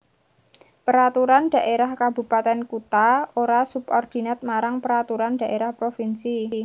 Peraturan Dhaérah Kabupatèn Kutha ora subordinat marang Peraturan Dhaérah Provinsi